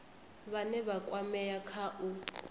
vhane vha kwamea kha u